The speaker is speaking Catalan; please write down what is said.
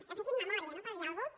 que fessin memòria no per dir alguna cosa